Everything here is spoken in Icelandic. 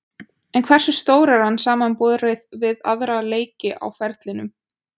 En hversu stór er hann samanborið við aðra leiki á ferlinum?